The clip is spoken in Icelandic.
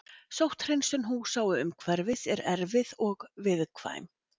Sótthreinsun húsa og umhverfis er erfið og viðkvæm.